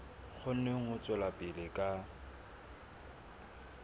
kgone ho tswela pele ka